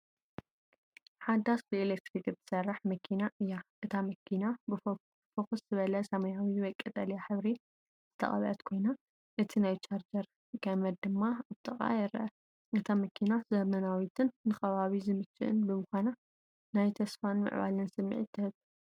ሓዳስ ብኤሌክትሪክ እትሰርሕ መኪና እያ። እታ መኪና ብፍኹስ ዝበለ ሰማያዊ ወይ ቀጠልያ ሕብሪ ዝተቐብአት ኮይና፡ እቲ ናይ ቻርጅ ገመድ ድማ ኣብ ጥቓኣ ይርአ። እታ መኪና ዘመናዊትን ንከባቢ ዝምችእን ብምዃና፡ ናይ ተስፋን ምዕባለን ስምዒት ትህብ።